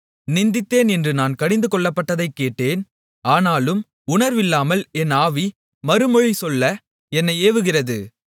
நிந்தித்தேன் என்று நான் கடிந்து கொள்ளப்பட்டதைக் கேட்டேன் ஆனாலும் உணர்வினால் என் ஆவி மறுமொழி சொல்ல என்னை ஏவுகிறது